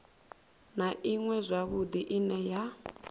na iṅwe zwavhudi ine ya